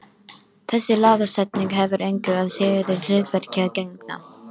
Þessi lagasetning hefur engu að síður hlutverki að gegna.